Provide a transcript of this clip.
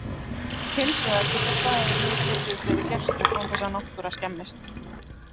Hins vegar getur staðurinn nú tekið við fleiri gestum án þess að náttúra skemmist.